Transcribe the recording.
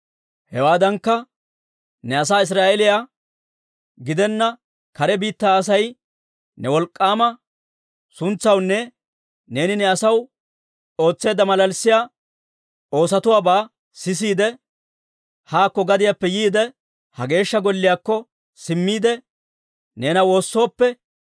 «Hewaadankka, ne asaa Israa'eeliyaa gidenna kare biittaa Asay ne wolk'k'aama suntsaawaanne neeni ne asaw ootseedda malalissiyaa oosotuwaabaa sisiide, haakko gadiyaappe yiide, ha Geeshsha Golliyaakko simmiide, neena woossooppe,